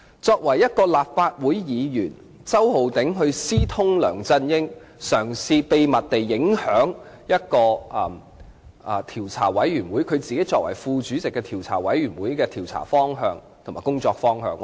作為一位立法會議員，周浩鼎議員私通梁振英，嘗試秘密地影響由他擔任副主席的專責委員會的調查及工作方向。